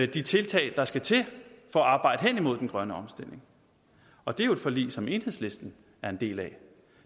de tiltag der skal til for at arbejde hen imod den grønne omstilling og det er jo et forlig som enhedslisten er en del af